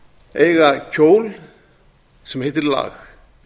eiga kjól sem heitir lag